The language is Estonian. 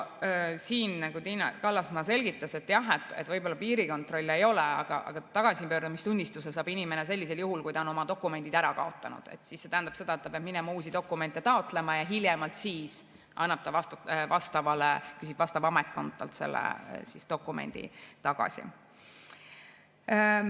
Tiina Kallasmaa selgitas, et jah, võib-olla piirikontrolli ei ole, aga tagasipöördumistunnistuse saab inimene sellisel juhul, kui ta on oma dokumendid ära kaotanud, see tähendab seda, et ta peab minema uusi dokumente taotlema ja hiljem küsib vastav ametkond talt selle dokumendi tagasi.